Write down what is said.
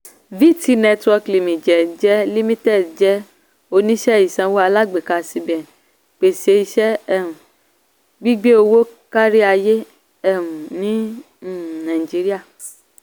vtnetwork limited jẹ́ limited jẹ́ oníṣẹ́ ìsanwó alágbèéká cbn pèsè iṣẹ́ um gbígbé owó káríayé um ní um Nigeria.